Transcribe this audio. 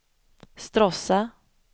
Stråssa